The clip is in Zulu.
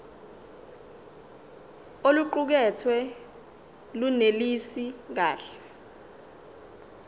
oluqukethwe lunelisi kahle